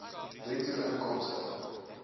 bruto inkomste